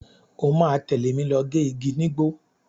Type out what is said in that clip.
O máa tẹ̀lé mi lọ gé igi nígbó.